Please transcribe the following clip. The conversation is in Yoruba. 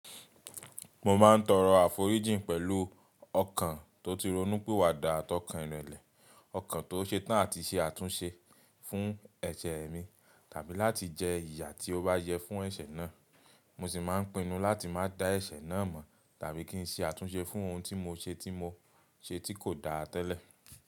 Mo ma ń toro aforiji pẹlu ọkan to ti ronúpiwada àtọ̀kàn ìrẹlẹ̀, ọkan to setán àti se àtúnse fún ẹ̀sẹ̀ mi tàbí láti jẹ iyà tí o bá yẹ fún ẹ̀sẹ̀ náà. Mo si ma ń pinnu láti má dá ẹ̀sẹ̀ náà mọ̀ tàbí kí ń ṣe àtúnse fún ohun ti mo ṣe tí mo ṣe tí ko da tẹ́lẹ̀.